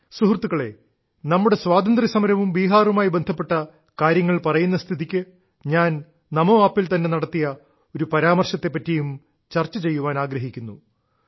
സുഹൃത്തുക്കളേ നമ്മുടെ സ്വാതന്ത്ര്യ സമരവും ബീഹാറുമായി ബന്ധപ്പെട്ട കാര്യങ്ങൾ പറയുന്ന സ്ഥിതിക്ക് ഞാൻ നമോ ആപ്പിൽ തന്നെ നടത്തിയ ഒരു പരാമർശത്തെ പറ്റിയും ചർച്ച ചെയ്യാൻ ആഗ്രഹിക്കുന്നു